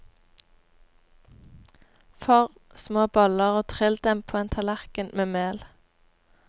Form små boller og trill dem på en tallerken med mel.